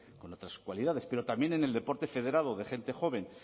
en otras cualidades pero también en el deporte federado de gente joven